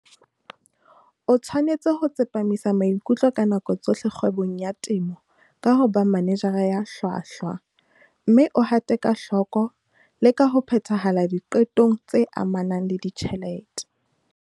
O tshwanetse ho tsepamisa maikutlo ka nako tsohle kgwebong ya temo ka ho ba manejara ya hlwahlwa, mme o hate ka hloko le ka ho phethahala diqetong tse amanang le ditjhelete.